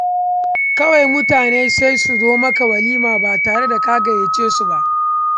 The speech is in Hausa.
Kawai mutane sai su zo maka walima ba tare da ka gayyace su ba.